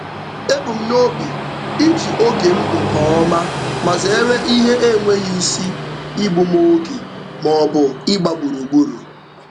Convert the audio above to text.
Ebu m n'obi iji oge m nke ọma ma zeere ihe enweghị isi igbu m oge maọbụ ịgba gburugburu.